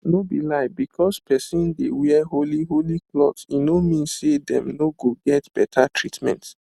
no be lie because person dey wear holy holy cloth e no mean say dem no go get beta treatment